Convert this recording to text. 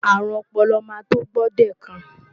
Àrùn ọpọlọ máa tó gbòdekàn.